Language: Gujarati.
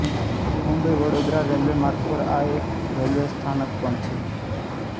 મુંબઈવડોદરા રેલ્વે માર્ગ પર આ એક રેલ્વે સ્થાનક પણ છે